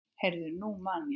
Heyrðu, nú man ég.